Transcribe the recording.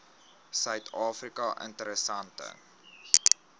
suid afrika interessante